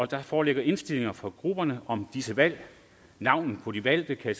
der foreligger indstillinger fra grupperne om disse valg navnene på de valgte kan